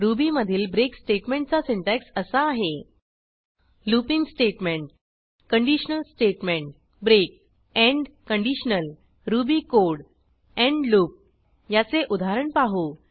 ruby मधील break स्टेटमेंटचा syntax असा आहे looping statement conditional statement break end conditional Ruby code end loop याचे उदाहरण पाहू